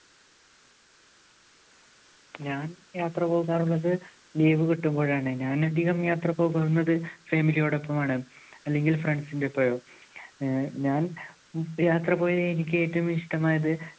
ഞാൻ യാത്ര പോകാറുള്ളത് leave കിട്ടുമ്പോഴാണ് ഞാൻ അധികം യാത്ര പോകുന്നത് family യോടൊപ്പമാണ് അല്ലെങ്കിൽ friends ന്റെ ഒപ്പവും. ഞാ~ഞാൻ യാത്ര പോയതിൽ എനിക്ക് ഏറ്റവും ഇഷ്ടമായത്